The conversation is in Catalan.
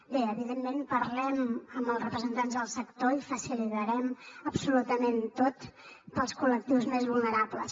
bé evidentment parlem amb els representants del sector i ho facilitarem absolutament tot per als col·lectius més vulnerables